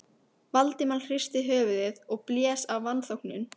Valdimar hristi höfuðið og blés af vanþóknun.